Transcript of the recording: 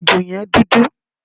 Ejò yẹn dúdú.